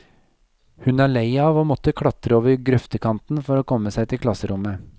Hun er lei av å måtte klatre over grøftekanten for å komme seg til klasserommet.